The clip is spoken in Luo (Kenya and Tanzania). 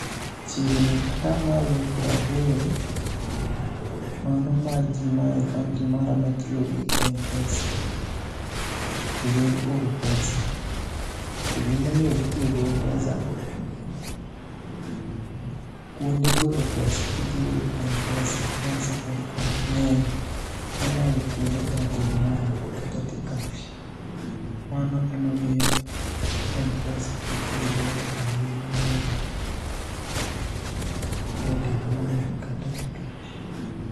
Chiegni atamalo praboro mano mar jii maya e kaunti mara matiyo gi Mpesa e yor oro pesa, to gima omiyo gitiyo gi Mpesa, kuonde golo pesa kitiyo gi Mpesa mag Safaricom ng'eny moloyo kuonde Airtel money kata T-Kash. Mano ema miyo Mpesa itiyo go ahinya moloyo Airtel money kata T-Kash